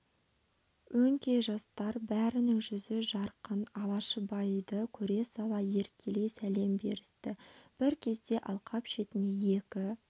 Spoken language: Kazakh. өңкей жастар бәрінің жүзі жарқын алашыбайды көре сала еркелей сәлем берісті бір кезде алқап шетіне екі